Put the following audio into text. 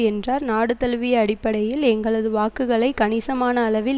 என்றார் நாடு தழுவிய அடிப்படையில் எங்களது வாக்குகளை கணிசமான அளவில்